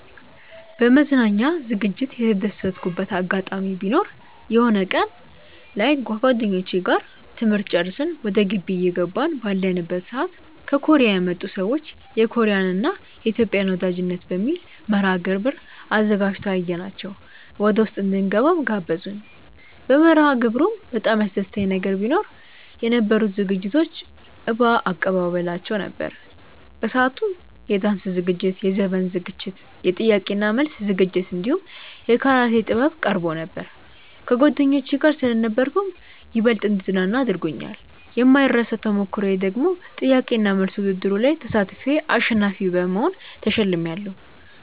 በመዝናኛ ዝግጅት የተደሰትኩበት አጋጣሚ ቢኖር የሆነ ቀን ላይ ከጓደኞቼ ጋር ትምህርት ጨርሰን ወደ ግቢ እየገባን ባለንበት ሰዓት ከኮርያ የመጡ ሰዎች የኮርያን እና የኢትዮጵያን ወዳጅነት በሚል መርሐግብር አዘጋጅተው አየናቸው ወደውስጥ እንድንገባም ጋበዙን። በመርሐግብሩም በጣም ያስደሰተኝ ነገር ቢኖ የነበሩት ዝግጅቶች እባ አቀባበላቸው ነበር። በሰአቱም የዳንስ ዝግጅት፣ የዘፈን ዝግጅት፣ የጥያቄ እና መልስ ዝግጅት እንዲሁም የካራቴ ጥበብ ቀርቦ ነበር። ከጓደኞቼ ጋር ስለነበርኩም ይበልጥ እንድዝናና አድርጎኛል። የማይረሳው ተሞክሮዬ ደግሞ ጥያቄ እና መልስ ውድድሩ ላይ ተሳትፌ አሸናፊ በመሆን ተሸልሜያለው።